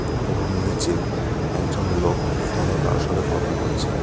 এবং নীচে একজন লোক ফোন এ কারোর সাথে কথা বলছে।